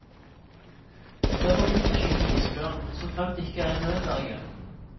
Det er forbudt å skyte isbjørn, så fremt det ikke er i nødverge.